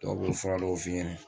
Dɔw fura dɔw f'i ɲɛnɛ